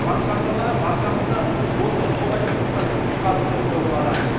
банк карталары баршамызды осы қолайсыздықтан құтқарды деуге болады